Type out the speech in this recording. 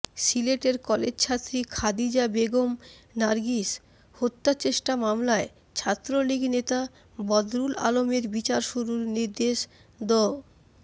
সিলেটের কলেজছাত্রী খাদিজা বেগম নার্গিস হত্যাচেষ্টা মামলায় ছাত্রলীগ নেতা বদরুল আলমের বিচার শুরুর নির্দেশ দ